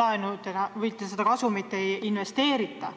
laenudena välja, seda kasumit ei investeerita.